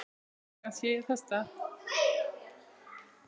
Engan sé ég þess stað.